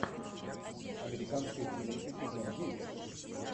американская семейка сезон девять